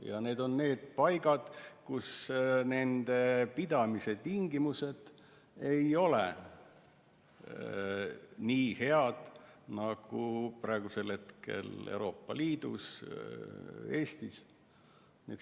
Ja need teised on paigad, kus nende pidamise tingimused ei ole nii head nagu praegu Euroopa Liidus, sh Eestis.